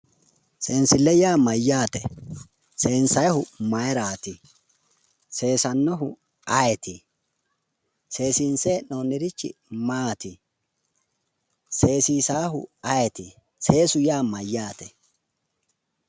seensile yaa mayyaate?, seeensayyihu mayiiraati ?,seesaahu ayeeti ?,seense hee'noonirichi maati?, seesannohu ayeeti seesu yaa mayyaate?